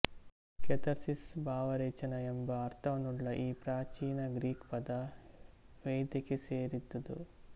catharsis ಭಾವರೇಚನ ಎಂಬ ಅರ್ಥವನ್ನುಳ್ಳ ಈ ಪ್ರಾಚೀನ ಗ್ರೀಕ್ ಪದ ವೈದ್ಯಕ್ಕೆ ಸೇರಿದುದು